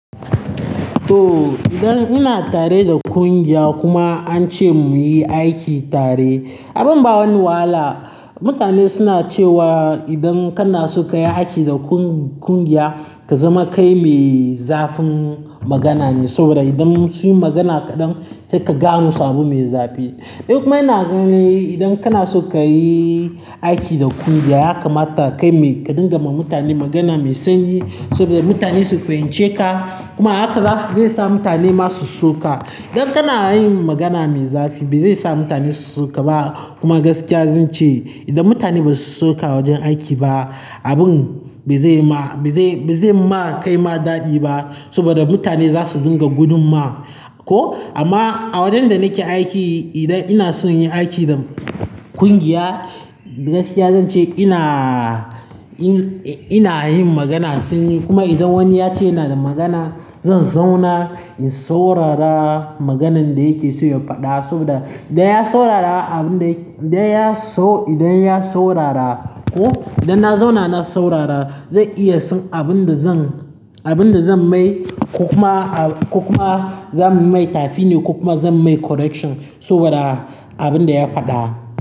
To, idan ina tare da kungiya kuma an ce mu yi aiki tare, abin ba wani wahala. Mutane suna cewa idan kana so ka yi aiki da kun-kungiya, ka zama kai mai zafin magana ne saboda idan sun yi magana kaɗan sai ka gano sabon mai zafi. Nikuma maina naga ne idan kana so ka yi aiki da kungiya, ya kamata kai mai ka dinga ma mutane magana mai sanyi saboda mutane su fahimci ka. Kuma ahaka za su zai sa mutane ma su so ka. Idan kana yin magana mai zafi, bai zai sa mutane su so ka ba. Kuma gaskiya zan ce idan mutane ba su so ka wajen aiki ba, abin bai zai ma, bai zai, bai zai ma kai ma daɗi ba saboda mutane za su dinga gudun ma. Ko amma a wajen da nake aiki, idan ina son yin aiki da kungiya, gaskiya zan ce ina, in, ina yin magana sanyi. Kuma idan wani ya ce yana da magana, zan zauna in saurara maganan da yake so ya faɗa saboda idan ya saurara abin da yake, idan ya sau, idan ya saurara ko idan na zauna na saurara, zan iya san abin da zan, abin da zan mai ko kuma a, ko kuma zan mai tafini ko kuma zan mai correction saboda abin da ya faɗa.